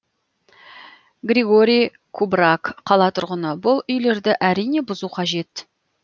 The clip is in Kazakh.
григорий кубраг қала тұрғыны бұл үйлерді әрине бұзу қажет